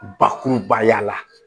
Bakurubaya la